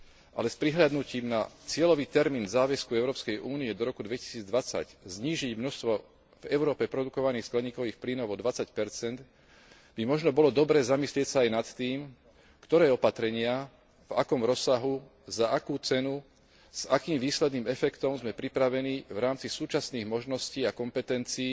Ale s prihliadnutím na cieľový termín záväzku Európskej únie do roku 2020 znížiť množstvo v Európe produkovaných skleníkových plynov o 20 by možno bolo dobré zamyslieť sa aj nad tým, ktoré opatrenia, v akom rozsahu, za akú cenu, s akým výsledným efektom sme pripravení v rámci súčasných možností a kompetencií